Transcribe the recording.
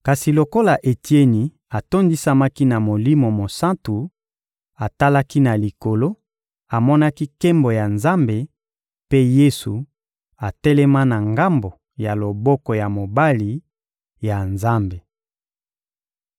Kasi lokola Etieni atondisamaki na Molimo Mosantu, atalaki na Likolo, amonaki nkembo ya Nzambe mpe Yesu atelema na ngambo ya loboko ya mobali ya Nzambe.